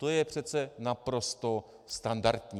To je přece naprosto standardní.